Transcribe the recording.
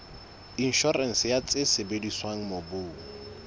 inshorense ya tse sebediswang mobung